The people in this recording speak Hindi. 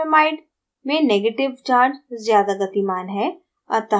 formamide में negative charge ज़्यादा गतिमान है